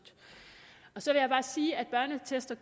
så vil jeg bare sige at børneattester